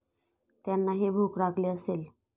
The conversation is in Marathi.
त्यांनाही भूक लागली असेल.